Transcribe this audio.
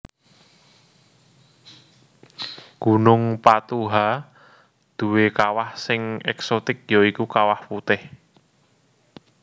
Gunung patuha duwé kawah sing èksotik ya iku kawah putih